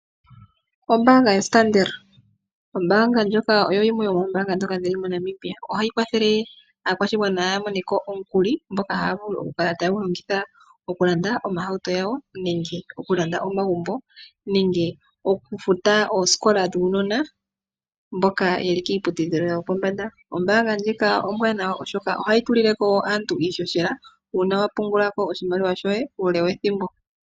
Ombaanga yo Standard. Ombaanga ndjoka oyo yimwe yomoombanga ndhoka dhili moNamibia ohayi kwathele aakwashigwana ya moneko omukuli ngoka haya vulu okukala taya longitha okulanda oohauto dhawo nenge okulanda omagumbo nenge okufuta oosikola dhuunona mboka yeli kiiputudhilo yopombanda .Ombaanga ndjika ombwanawa oshoka ohayi tulileko woo aantu iishoshela uuna wa pungulako oshimaliwa shoye uule wethimbo.